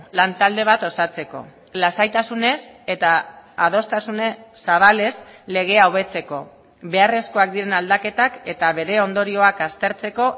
lan talde bat osatzeko lasaitasunez eta adostasun zabalez legea hobetzeko beharrezkoak diren aldaketak eta bere ondorioak aztertzeko